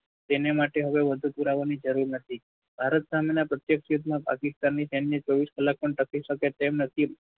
સૈન્ય માટે હવે વધુ પુરાવાની જરૂર નથી. ભારત સામેના પ્રત્યેક યુદ્ધમાં પાકિસ્તાનની સૈન્ય ચોવીસ કલાક પણ ટકી શકે તેમ નથી